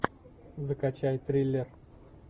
закачай триллер